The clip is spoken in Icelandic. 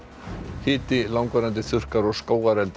hiti langvarandi þurrkar og skógareldar